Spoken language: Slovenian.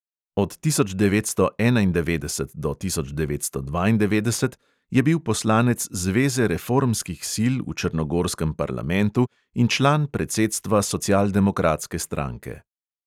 Od tisoč devetsto enaindevetdeset do tisoč devetsto dvaindevetdeset je bil poslanec zveze reformskih sil v črnogorskem parlamentu in član predsedstva socialdemokratske stranke.